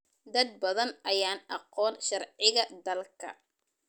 Dad badan ayaan aqoon sharciga dalka.